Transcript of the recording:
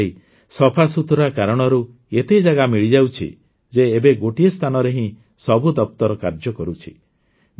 ଆଜିକାଲି ସଫାସୁତୁରା କାରଣରୁ ଏତେ ଜାଗା ମିଳିଯାଉଛି ଯେ ଏବେ ଗୋଟିଏ ସ୍ଥାନରେ ହିଁ ସବୁ ଦପ୍ତର କାର୍ଯ୍ୟ କରୁଛି